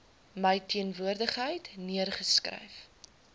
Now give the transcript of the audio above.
my teenwoordigheid neergeskryf